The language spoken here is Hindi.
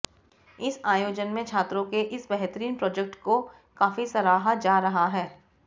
इस आयोजन में छात्रों के इस बेहतरीन प्रोजेक्ट को काफी सराहा जा रहा है